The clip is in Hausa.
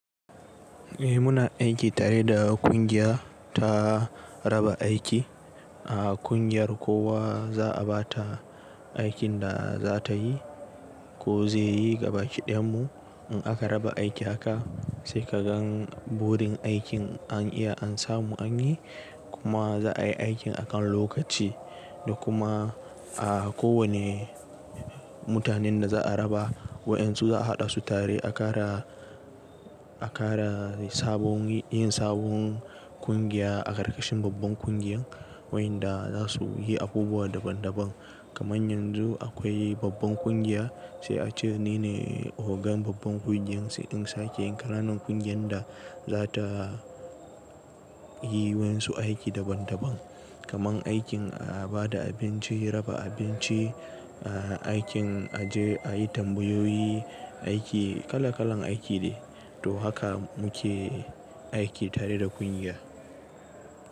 Eh muna aiki tare da ƙungiya ta raba aiki, a ƙungiyar kowa za a ba ta aikin da za ta yi ko zai yi gabaki ɗayanmu In aka raba aiki haka sai ka gan burin aikin an iya an samu an yi kuma za a yi aikin akan lokaci da kuma a kowane mutanen da za a raba waƴansu za a haɗa su tare a kara, a kara sabon yin sabon kungiya a karkashin babban kungiyan waƴanda za su yi abubuwa daban daban. Kaman yanzu akwai babban ƙungiya sai a ce ni ne ogan babban ƙungiyan sai sn sake yi kananan kungiyan da za ta yi wan su aiki daban daban. Kaman aikin a ba da abinci, raba abinci, aikin a je a yi tambayoyi, aiki kala kalan aiki de to haka mu ke aiki tare da kungiya.